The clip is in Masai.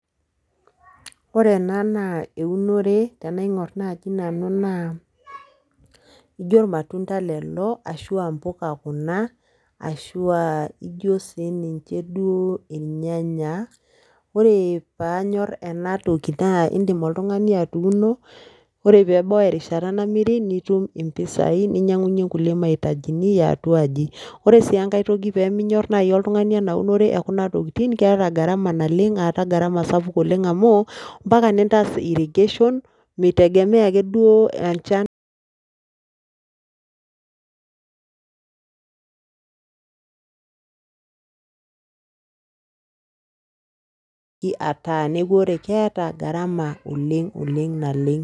Ore ena na eunore tenaing'orr naaji nanu naa ijio irmatunda lelo ashu aa mpuka kuna ashu aa ijo siininche duo irnyanya, ore pee anyorr ena toki naa iindim oltung'ani atuuno ore terishata namiri nitum mpisaai ninyiang'unyie nkulie mahitajini ee atu aji ore sii enkae toki pee minyorr naai oltung'ani ena unore ekuna tokitin keeta gharama naleng' aata gharama sapuk oleng' amu mpaka nintaas irrigation mitegemea akeduo ataa neeku eeta gharama oleng' naleng'.